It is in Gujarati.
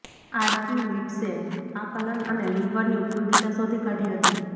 આર્કિમીડ્સે આકલન અને લિવરની ઉપયોગીતા શોધી કાઢી હતી